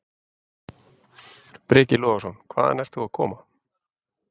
Breki Logason: Hvaðan ert þú að koma?